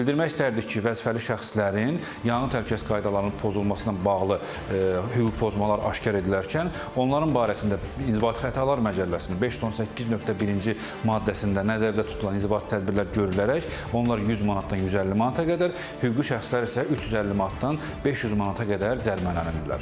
Bildirmək istərdik ki, vəzifəli şəxslərin yanğın təhlükəsizlik qaydalarının pozulmasına bağlı hüquq pozmalar aşkar edilərkən onların barəsində inzibati xətalar məcəlləsinin 518.1-ci maddəsində nəzərdə tutulan inzibati tədbirlər görülərək onlar 100 manatdan 150 manata qədər, hüquqi şəxslər isə 350 manatdan 500 manata qədər cərimələnirlər.